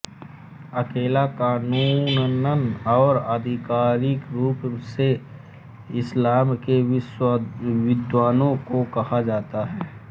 उलेमा कानूनन और आधिकारिक रूप से इस्लाम के विद्वानों को कहा जाता है